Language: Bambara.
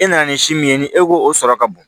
E nana ni si min ye ni e ko o sɔrɔ ka bon